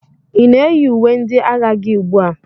Ị na-eyi uwe ndị agha gị ugbu a?